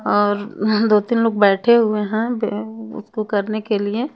और दो तीन लोग बैठे हुए हैं बे उसको करने के लिए।